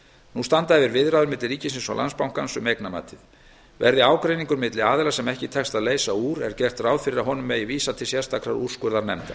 nú standa yfir viðræður milli ríkisins og landsbankans um eignamatið verði ágreiningur milli aðila sem ekki tekst að leysa úr er gert ráð fyrir að honum megi vísa til sérstakrar úrskurðarnefndar